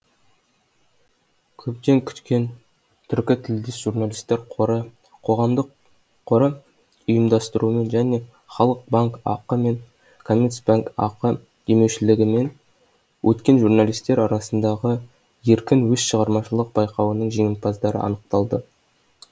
көптен күткен түркітілдес журналистер қоры қоғамдық қоры ұйымдастыруымен және халық банк ақ мен қазкоммерцбанк ақ демеушілігімен өткен журналистер арасындағы еркін сөз шығармашылық байқауының жеңімпаздары анықталды